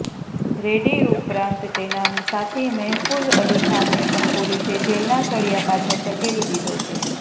રેડ્ડી ઉપરાતં તેના સાથી મેહફુઝ અલી ખાનને પણ પોલીસે જેલના સળીયા પાછળ ધકેલી દીધો છે